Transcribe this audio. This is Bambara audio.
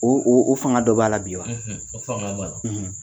O o o fanga dɔ b'a la bi wa o fanga b'a la.